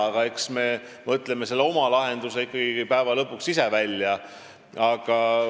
Aga eks me mõtleme oma lahenduse lõpuks ise välja.